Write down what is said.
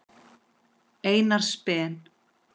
Einars Ben.